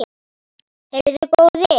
Heyrðu góði!